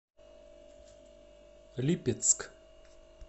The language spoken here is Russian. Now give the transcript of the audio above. липецк